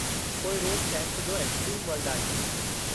पोइ रोज़ केम्प जो एक्सट्रीम वर्ल्ड आहे।